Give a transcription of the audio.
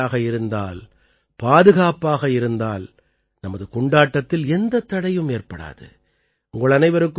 நாம் எச்சரிக்கையாக இருந்தால் பாதுகாப்பாக இருந்தால் நமது கொண்டாட்டத்தில் எந்தத் தடையும் ஏற்படாது